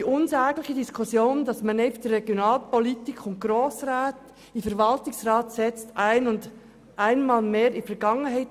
Damit gehört die unsägliche Diskussion darüber, einfach Regionalpolitik zu betreiben und Grossräte in den Verwaltungsrat zu setzen, der Vergangenheit.